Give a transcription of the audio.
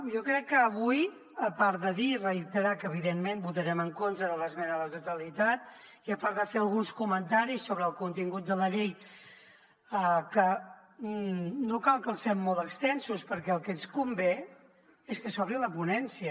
jo crec que avui a part de dir i reiterar que evidentment votarem en contra de l’esmena a la totalitat i a part de fer alguns comentaris sobre el contingut de la llei que no cal que els fem molt extensos perquè el que ens convé és que s’obri la ponència